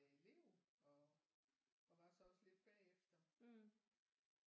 Jeg elev og og var så også lidt bagefter